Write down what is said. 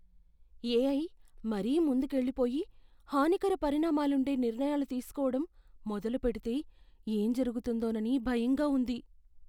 AI మరీ ముందుకెళ్ళిపోయి, హానికర పరిణామాలుండే నిర్ణయాలు తీసుకోవడం మొదలుపెడితే ఏం జరుగుతుందోనని భయంగా ఉంది.